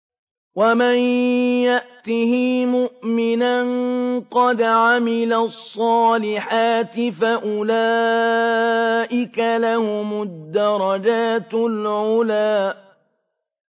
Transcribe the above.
وَمَن يَأْتِهِ مُؤْمِنًا قَدْ عَمِلَ الصَّالِحَاتِ فَأُولَٰئِكَ لَهُمُ الدَّرَجَاتُ الْعُلَىٰ